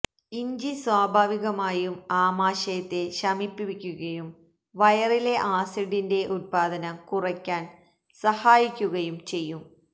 ഇഞ്ചി സ്വാഭാവികമായും ആമാശയത്തെ ശമിപ്പിക്കുകയും വയറിലെ ആസിഡിന്റെ ഉത്പാദനം കുറയ്ക്കാന് സഹായിക്കുകയും ചെയ്യും